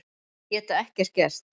Geta ekkert gert.